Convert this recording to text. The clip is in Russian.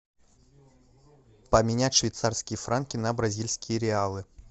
поменять швейцарские франки на бразильские реалы